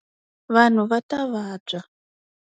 Vanhu va ta vabya.